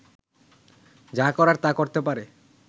যা করার তা করতে পারে